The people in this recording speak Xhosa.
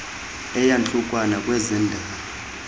eyantlukwano kweze ndalo